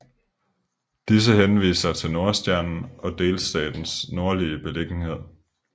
Disse henviser til Nordstjernen og delstatens nordlige beliggenhed